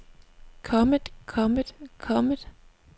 kommet kommet kommet